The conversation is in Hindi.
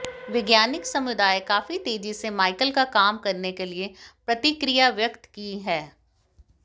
वैज्ञानिक समुदाय काफी तेजी से माइकल का काम करने के लिए प्रतिक्रिया व्यक्त की है